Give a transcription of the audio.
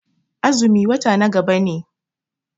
Azumi wata na gaba ne.